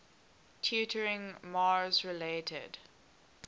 tutoring mars related